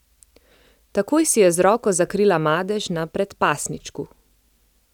Takoj si je z roko zakrila madež na predpasničku.